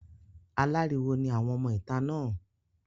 Aláriwo ni àwọn ọmọ ìta náà.